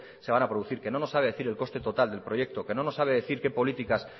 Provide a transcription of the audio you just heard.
se van a producir que no nos sabe decir el coste total del proyecto que no nos sabe decir qué políticas